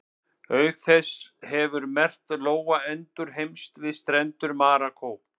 Auk þess hefur merkt lóa endurheimst við strendur Marokkó.